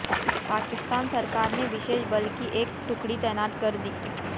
पाकिस्तान सरकार ने विशेष बल की एक टुकड़ी तैनात कर दी